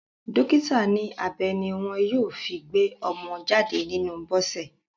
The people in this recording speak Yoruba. Dọ́kítà ní abẹ ní wọ́n yóò fi gbé ọmọ jáde nínú Bọ́sẹ̀.